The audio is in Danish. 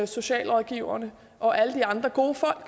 socialrådgiverne og alle de andre gode folk